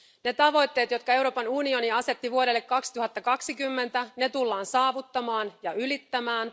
Ne tavoitteet, jotka Euroopan unioni asetti vuodelle 2020, tullaan saavuttamaan ja ylittämään.